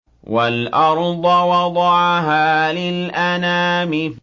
وَالْأَرْضَ وَضَعَهَا لِلْأَنَامِ